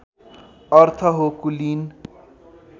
अर्थ हो कुलीन